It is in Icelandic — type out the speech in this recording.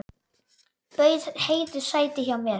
Bauð Heiðu sæti hjá mér.